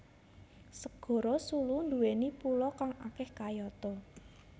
Segara Sulu nduwèni pulo kang akeh kayata